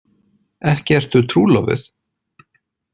Ekki ertu trúlofuð?